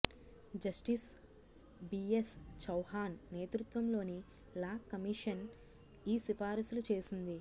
justice BS Chauhan నేతృత్వంలోని law commission ఈ సిఫారసులు చేసింది